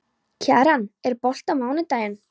Kjaran, er bolti á mánudaginn?